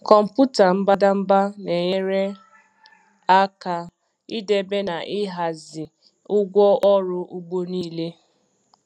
Kọmpụta mbadamba na-enyere aka ịdebe na ịhazie ụgwọ ọrụ ugbo niile.